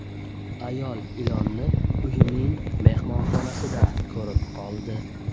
Ayol ilonni uyining mehmonxonasida ko‘rib qoldi.